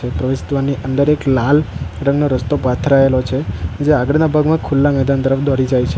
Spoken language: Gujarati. પ્રેસત્વ ની અંદર એક લાલ રંગનો રસ્તો પથરાયેલો છે જે આગળના ભાગમાં ખુલ્લા મેદાન તરફ દોડી જાય છે.